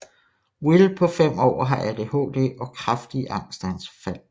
Will på 5 år har ADHD og kraftige angstanfald